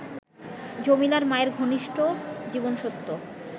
জমিলার মায়ের ঘনিষ্ঠ জীবনসত্য